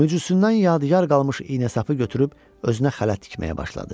Möcüzüsündən yadigar qalmış iynəsapı götürüb özünə xələt tikməyə başladı.